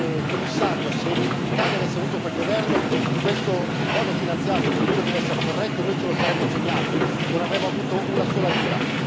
Signor Commissario, se l'Italia avesse avuto quel governo, questo quadro finanziario, che pure deve essere corretto, noi ce lo saremmo sognato, non avremmo avuto una sola lira.